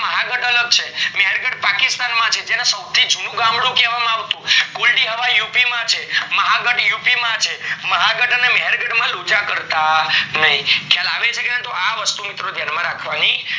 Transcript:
ને મહાગઢ અલગ છે મહેર્ગઢ પાકિસ્તાન માં છે જેના સૌથી જુનું ગામડું કેવા માં આવતું કુલડી હવા યુપી માં છે, મહાગઢ યુપી માં છે મ્હેર્ગઢ અને માનગઢ માં લોચા કરતા નય ખ્યાલ આવે છે મિત્રો આ વસ્તુ ધ્યાન માં રાખવાની